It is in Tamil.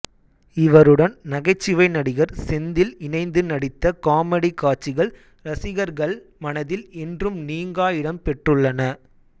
இவருடன் நகைச்சுவை நடிகர் செந்தில் இணைந்து நடித்த காமெடி காட்சிகள் ரசிகர்கள் மனதில் என்றும் நீங்கா இடம் பெற்றுள்ளன